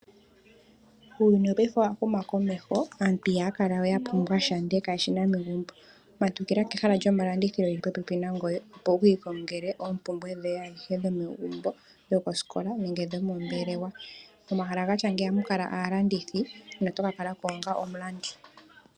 Uuyuni wopaife owa huma komeho aantu ihaya kala we ya pumbwa sha ndele kaye shina megumbo. Matukila kehala lyomalandithilo geli popepi nangoye opo wuki kongele oompumbwe dhoye adhihe dho megumbo ,dhokosikola nenge dhomo mbelewa. Momahala gatya ngeyi ohaga kala aalandithi noto kakalako onga omulandi.